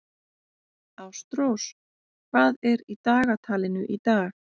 Ástrós, hvað er í dagatalinu í dag?